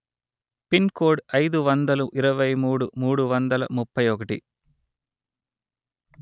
pin code అయిదు వందలు ఇరవై మూడు మూడు వందల ముప్పై ఒకటి